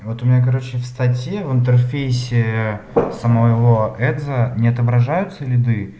вот у меня короче в статьи в интерфейсе самого эдза не отображаются лиды